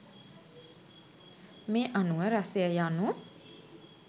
මේ අනුව රසය යනු